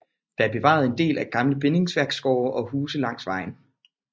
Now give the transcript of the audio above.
Der er bevaret en del gamle bindingsværksgårde og huse langs vejen